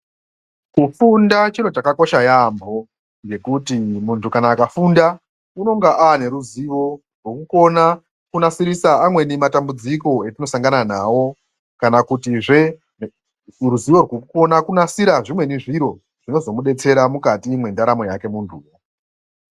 Kufunda chiro chakakosha yaambo ngekuti muntu kana akafunda unenga ava neruzivo rwekukona kunasisirisa amweni matambudziko etinosangana nawo. Kana kutizve ruzivo rwekukone kunasira zvimweni zviro zvinozomudetsera mwukati mwendaramo yake muntu uyu.